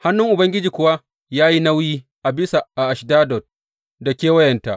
Hannun Ubangiji kuwa ya yi nauyi a bisa Ashdod da kewayenta.